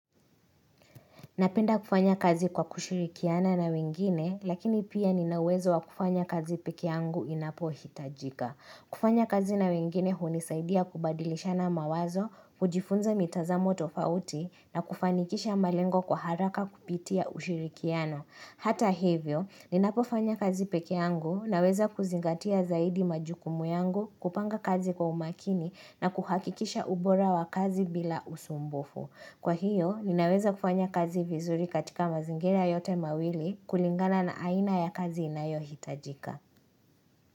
Napenda kufanya kazi kwa kushirikiana na wengine, lakini pia ninawezo wakufanya kazi pekeangu inapo hitajika. Kufanya kazi na wengine hunisaidia kubadilisha na mawazo, kujifunza mitazamo tofauti, na kufanikisha malengo kwa haraka kupitia ushirikiano. Hata hivyo, ninapofanya kazi pekeangu na weza kuzingatia zaidi majukumu yangu kupanga kazi kwa umakini na kuhakikisha ubora wa kazi bila usumbufu. Kwa hiyo, ninaweza kufanya kazi vizuri katika mazingira yote mawili kulingana na aina ya kazi inayo hitajika.